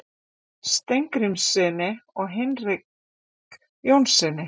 Steingrímssyni og Hinrik Jónssyni.